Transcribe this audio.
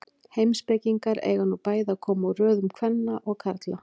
Heimspekingarnir eiga nú bæði að koma úr röðum kvenna og karla.